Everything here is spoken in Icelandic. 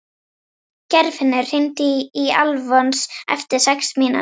Geirfinnur, hringdu í Alfons eftir sex mínútur.